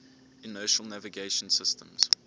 inertial navigation systems